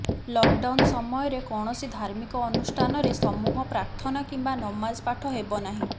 lockdown ସମୟରେ କୈାଣସି ଧାର୍ମିକ ଅନୁଷ୍ଠାନରେ ସମୂହ ପ୍ରାର୍ଥନା କିମ୍ବା ନମାଜ ପାଠ ହେବ ନାହିଁ